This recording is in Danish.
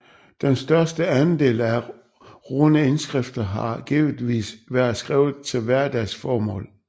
Den største andel af runeindskrifter har givetvis været skrevet til hverdagsformål